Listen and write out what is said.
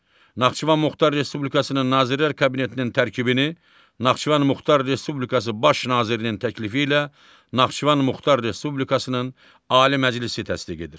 Naxçıvan Muxtar Respublikasının Nazirlər Kabinetinin tərkibini Naxçıvan Muxtar Respublikası Baş nazirinin təklifi ilə Naxçıvan Muxtar Respublikasının Ali Məclisi təsdiq edir.